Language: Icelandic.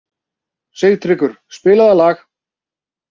Sigtryggur, spilaðu lag.